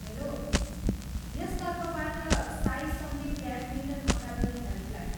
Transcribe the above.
Hello! यस तर्फबाट Sai Sandeep badminton academy helpline.